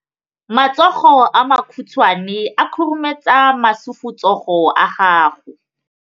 Matsogo a makhutshwane a khurumetsa masufutsogo a gago.